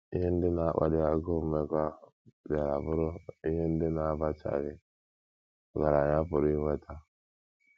Ihe ndị na - akpali agụụ mmekọahụ bịara bụrụ ihe ndị na - abachaghị ọgaranya pụrụ inweta.